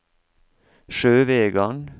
Sjøvegan